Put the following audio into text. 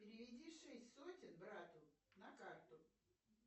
переведи шесть сотен брату на карту